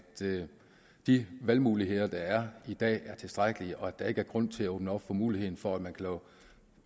de valgmuligheder der er i dag er tilstrækkelige og at der ikke er grund til at åbne op for muligheden for at man kan lave